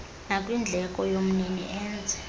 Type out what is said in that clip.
nakwindleko yomnini enze